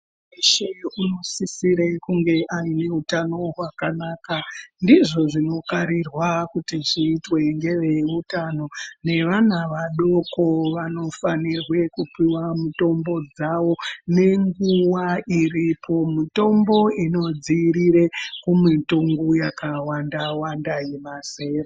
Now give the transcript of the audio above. Munhu weshe unosisire kunge ane utano hwakanaka ndizvo zvinokarirwe kuti zviitwe ngeveutano. Nevana vadoko vanofanirwe kupiwa mitombo mitombo dzavo nenguva iripo. Mitombo inodzivirira kumitongo yawanda yemazera madoko.